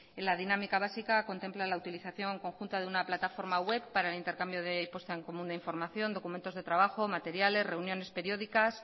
en la dinámica básica contempla la utilización conjunta de una plataforma web para el intercambio de puesta en común de información documentos de trabajo materiales reuniones periódicas